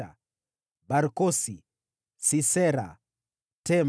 wazao wa Barkosi, Sisera, Tema,